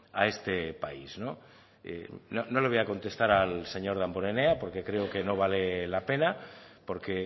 a este país no le voy a contestar al señor damborenea porque creo que no vale la pena porque